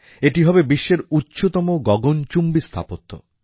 এটি হবে বিশ্বের উচ্চতম গগনচুম্বী স্থাপত্য